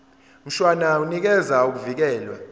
mshwana unikeza ukuvikelwa